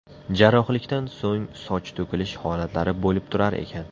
Jarrohlikdan so‘ng soch to‘kilish holatlari bo‘lib turar ekan.